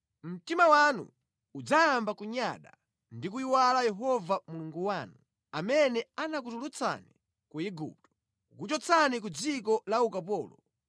mtima wanu udzayamba kunyada ndi kuyiwala Yehova Mulungu wanu, amene anakutulutsani ku Igupto, kukuchotsani ku dziko la ukapolo.